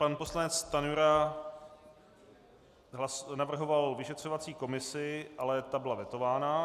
Pan poslanec Stanjura navrhoval vyšetřovací komisi, ale ta byla vetována.